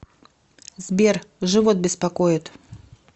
сбер живот беспокоит